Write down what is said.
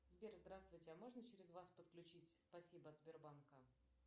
сбер здравствуйте а можно через вас подключить спасибо от сбербанка